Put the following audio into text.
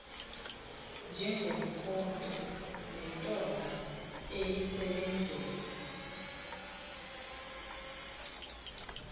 njengomkhonto nentonga iyisebenzela